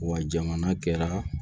Wa jamana kɛra